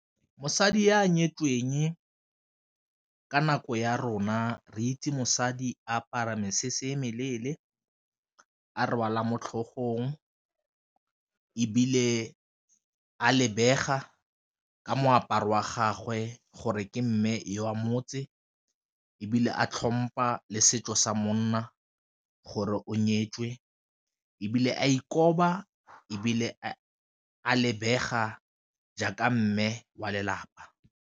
Mosadi e a nyetsweng ka nako ya rona re itse mosadi apara mesese meleele, a rwala mo tlhogong, ebile a lebega ka moaparo wa gagwe gore ke mme wa motse ebile a tlhompa le setso sa monna gore o nyetswe ebile a ikoba ebile a lebega jaaka mme wa lelapa.